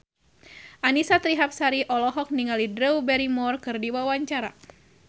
Annisa Trihapsari olohok ningali Drew Barrymore keur diwawancara